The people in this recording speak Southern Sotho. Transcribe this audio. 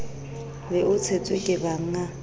be o tshetswe ke bannga